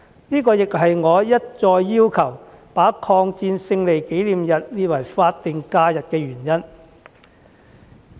這亦是我一再要求把抗戰勝利紀念日列為法定假日的原因。